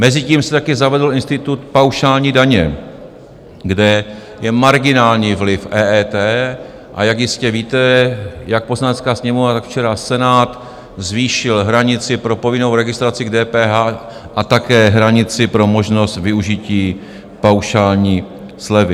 Mezitím se také zavedl institut paušální daně, kde je marginální vliv EET, a jak jistě víte, jak Poslanecká sněmovna, tak včera Senát zvýšil hranici pro povinnou registraci k DPH a také hranici pro možnost využití paušální slevy.